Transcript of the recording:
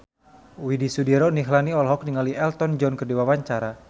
Widy Soediro Nichlany olohok ningali Elton John keur diwawancara